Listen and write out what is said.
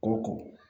O don